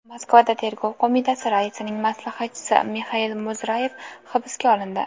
Moskvada Tergov qo‘mitasi raisining maslahatchisi Mixail Muzrayev hibsga olindi.